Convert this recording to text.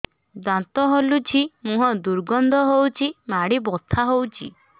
ଦାନ୍ତ ହଲୁଛି ମୁହଁ ଦୁର୍ଗନ୍ଧ ହଉଚି ମାଢି ବଥା ହଉଚି